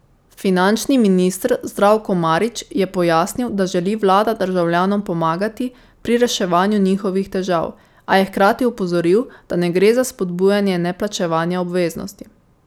Finančni minister Zdravko Marić je pojasnil, da želi vlada državljanom pomagati pri reševanju njihovih težav, a je hkrati opozoril, da ne gre za spodbujanje neplačevanja obveznosti.